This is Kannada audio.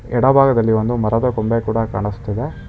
ಎಡಭಾಗದಲ್ಲಿ ಒಂದು ಮರದ ಕೊಂಬೆ ಕೂಡ ಕಾಣಿಸ್ತಿದೆ.